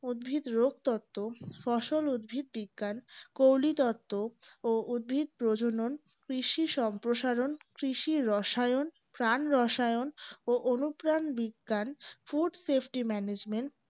উদ্ভিদ রোগ তত্ত্ব ফসল উদ্ভিদবিজ্ঞান ও উদ্ভিদ প্রজনন কৃষি সম্প্রসারণ কৃষি রসায়ন প্রাণ রসায়ন ও অনুপ্রাণ বিজ্ঞান foodsafetymanagement